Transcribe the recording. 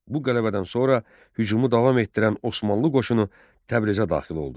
Bu qələbədən sonra hücumu davam etdirən Osmanlı qoşunu Təbrizə daxil oldu.